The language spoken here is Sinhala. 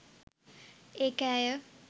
ඒක ඇය